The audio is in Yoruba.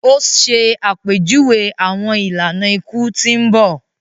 O ṣe àpèjúwe awọn ìlànà iku tí n bọ